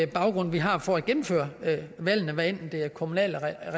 baggrund vi har for at gennemføre valgene hvad enten det er i kommuner